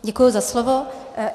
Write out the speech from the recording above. Děkuji za slovo.